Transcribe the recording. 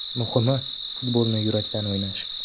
Muhimi, futbolni yurakdan o‘ynash.